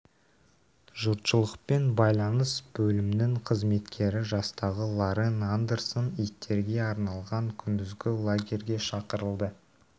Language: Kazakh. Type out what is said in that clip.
жұртшылықпен байланыс бөлімінің қызметкері жастағы лорен андерсон иттерге арналған күндізгі лагерьге шақырылды